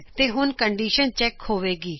ਤੇ ਹੁਣ condition check ਹੋਵੇਗੀ